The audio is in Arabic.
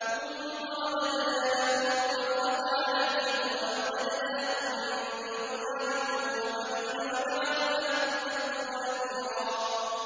ثُمَّ رَدَدْنَا لَكُمُ الْكَرَّةَ عَلَيْهِمْ وَأَمْدَدْنَاكُم بِأَمْوَالٍ وَبَنِينَ وَجَعَلْنَاكُمْ أَكْثَرَ نَفِيرًا